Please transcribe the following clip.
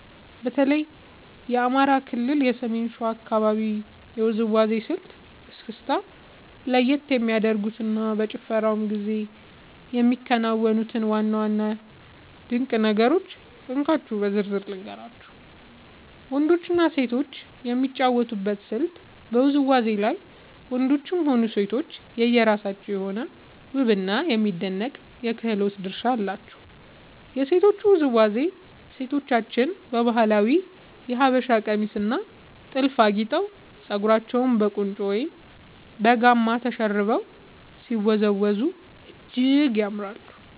በተለይ የአማራ ክልል የሰሜን ሸዋ አካባቢን የውዝዋዜ ስልት (እስክስታ) ለየት የሚያደርጉትንና በጭፈራው ጊዜ የሚከናወኑትን ዋና ዋና ድንቅ ነገሮች እንካችሁ በዝርዝር ልንገራችሁ፦ . ወንዶችና ሴቶች የሚጫወቱበት ስልት በውዝዋዜው ላይ ወንዶችም ሆኑ ሴቶች የየራሳቸው የሆነ ውብና የሚደነቅ የክህሎት ድርሻ አላቸው። የሴቶቹ ውዝዋዜ፦ ሴቶቻችን በባህላዊው የሀበሻ ቀሚስና ጥልፍ አጊጠው፣ ፀጉራቸውን በቁንጮ ወይም በጋማ ተሸርበው ሲወዝወዙ እጅግ ያምራሉ።